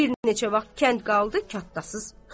Bir neçə vaxt kənd qaldı katdasız.